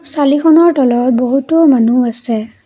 চালিখনৰ তলত বহুতো মানুহ আছে।